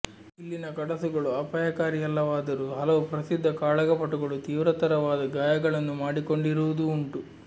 ಇಲ್ಲಿನ ಕಡಸುಗಳು ಅಪಾಯಕಾರಿಯಲ್ಲವಾದರೂ ಹಲವು ಪ್ರಸಿದ್ಧ ಕಾಳಗಪಟುಗಳು ತೀವ್ರತರವಾದ ಗಾಯಗಳನ್ನು ಮಾಡಿಕೊಂಡಿರುವುದೂ ಉಂಟು